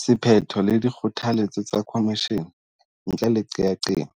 Sephetho le dikgotha letso tsa khomishene ntle le qeaqeo,